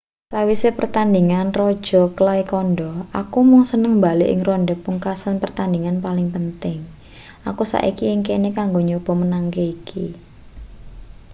sawise pertandhingan raja clay kandha aku mung seneng mbalik ing ronde pungkasan pertandhingan paling penting aku saiki ing kene kanggo nyoba menangke iki